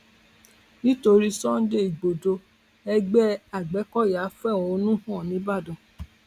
nítorí sunday igbodò ẹgbẹ agbẹkọyà fẹhónú hàn nìbàdàn